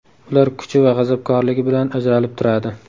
Ular kuchi va g‘azabkorligi bilan ajralib turadi.